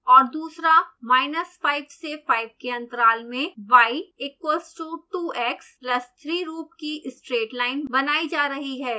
और दूसरा minus 5 से 5 के अंतराल में y equals to 2x plus 3 रूप की straight line बनायी जा रही है